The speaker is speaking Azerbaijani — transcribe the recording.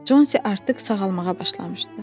Consi artıq sağalmağa başlamışdı.